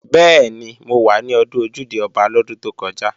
Bẹ́ẹ̀ni, mo wà ní Ọdún Ojúde-Ọba lọ́dún tó kọjá